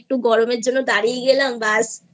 একটু গরমের জন্য দাঁড়িয়ে গেলাম বাস